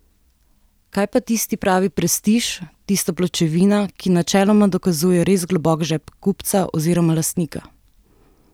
Kaj pa tisti pravi prestiž, tista pločevina, ki načeloma dokazuje res globok žep kupca oziroma lastnika?